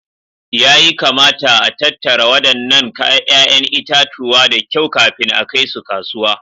Yayi kamata a tattara wadannan 'ya'yan itatuwa da kyau kafin a kai su kasuwa